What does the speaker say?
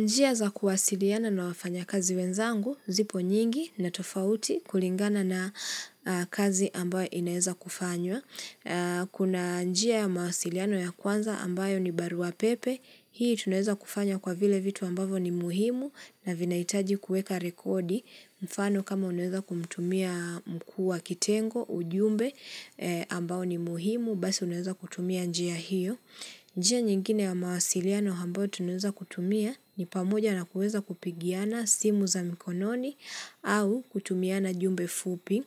Njia za kuwasiliana na wafanya kazi wenzangu, zipo nyingi na tofauti kulingana na kazi ambayo inaeza kufanywa. Kuna njia ya mawasiliano ya kwanza ambayo ni barua pepe, hii tunaweza kufanya kwa vile vitu ambavyo ni muhimu na vinaitaji kuweka rekodi mfano kama unaweza kumtumia mkuu wa kitengo, ujumbe ambao ni muhimu, basi unaweza kutumia njia hiyo. Njia nyingine ya mawasiliano ambayo tunuweza kutumia ni pamoja na kuweza kupigiana simu za mikononi. Au kutumiana jumbe fupi